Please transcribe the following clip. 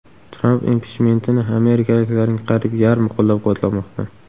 Tramp impichmentini amerikaliklarning qariyb yarmi qo‘llab-quvvatlamoqda.